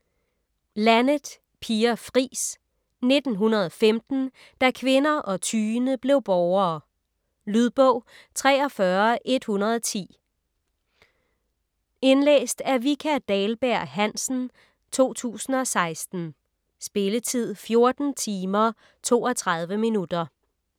Laneth, Pia Fris: 1915 - da kvinder og tyende blev borgere Lydbog 43110 Indlæst af Vika Dahlberg-Hansen, 2016. Spilletid: 14 timer, 32 minutter.